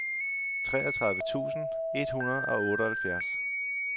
treogtredive tusind et hundrede og otteoghalvfjerds